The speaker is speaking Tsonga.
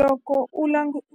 Loko u